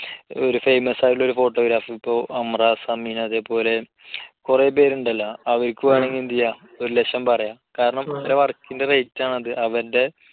ഒരു famous ആയിട്ടുള്ള ഒരു photographer ഇപ്പോ അമ്രാ സമീൻ അതേപോലെ കുറെ പേരുണ്ടല്ലോ. അവർക്ക് വേണമെങ്കിൽ എന്തുചെയ്യാം, ഒരു ലക്ഷം പറയാം. കാരണം അവരുടെ work ന്റെ rate ആണ് അത്. അവന്റെ